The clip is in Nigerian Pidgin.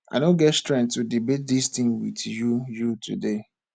i no get strength to debate dis thing with you you today